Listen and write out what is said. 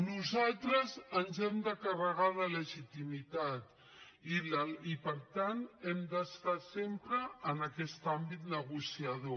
nosaltres ens hem de carregar de legitimitat i per tant hem d’estar sempre en aquest àmbit negociador